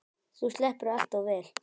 Þú sleppur allt of vel.